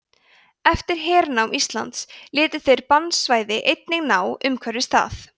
eftir hernám íslands létu þeir bannsvæði einnig ná umhverfis það